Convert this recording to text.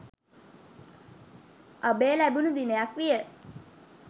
අභය ලැබුණු දිනයක් විය.